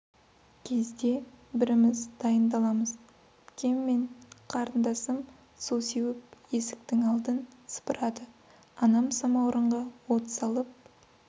кезде бріміз дайындаламыз пкем мен қарындасым су сеуіп есіктің алдын сыпырады анам самаурынға от салып